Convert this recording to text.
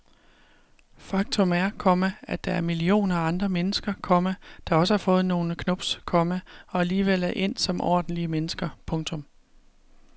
Faktum er, komma at der er millioner af andre mennesker, komma der også har fået nogle knubs, komma og alligevel er endt som ordentlige mennesker. punktum